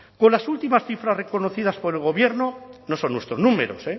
con las últimas cifras reconocidas por el gobierno no son nuestros números